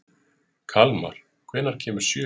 Kalmar, hvenær kemur sjöan?